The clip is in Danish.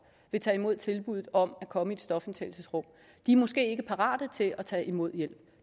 vil tage imod tilbuddet om at komme i et stofindtagelsesrum måske ikke er parate til at tage imod hjælp